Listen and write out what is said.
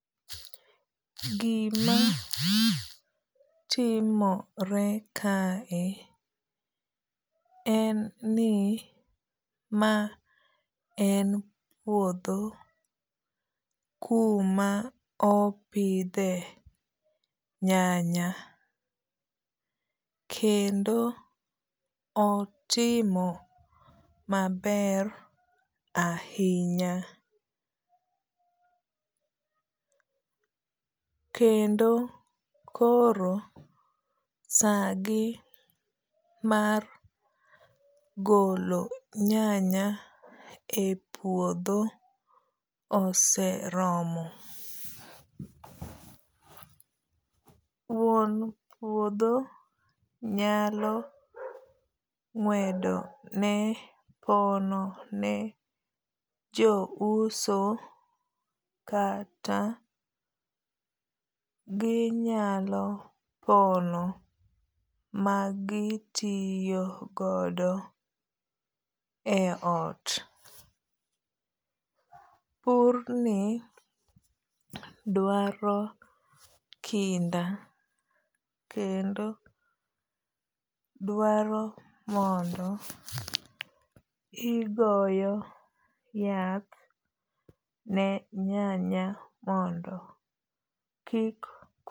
Gima timore kae en ni ma en puodho kuma opidhe nyanya. Kendo otimo maber ahinya. Kendo koro sagi mar golo nyanya e puodho oseromo. Wuon puodho nyalo ng'wedo ne pono ne jo uso kata ginyalo pono magitiyo godo e ot. Pur ni dwaro kinda. Kendo dwaro mondo igoyo yath ne nyanya mondo kik.